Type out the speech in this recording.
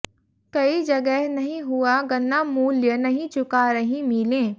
कई जगह नहीं हुआ गन्ना मूल्य नहीं चुका रहीं मिलें